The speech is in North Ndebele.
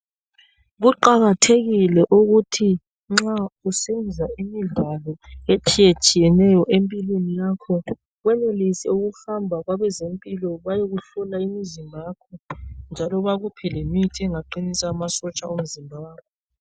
Kuqakathekile ukuthi nxa usenza imidlalo etshiyetshiyeneyo empilweni yakho, wenelise ukuhamba kwabezempilo bayekuhlola umzimba wakho njalo bakuphe lemithi engaqinisa amasotsha omzimba wakho.